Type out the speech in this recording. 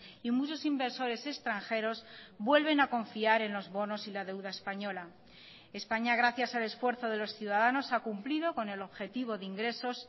y muchos inversores extranjeros vuelven a confiar en los bonos y la deuda española españa gracias al esfuerzo de los ciudadanos ha cumplido con el objetivo de ingresos